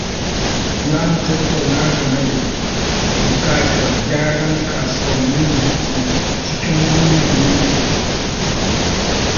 Za mu tattauna game da bukatar gyran kasuwannin da ke cikin wannan yankin